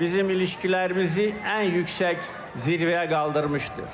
bizim ilişkilərimizi ən yüksək zirvəyə qaldırmışdır.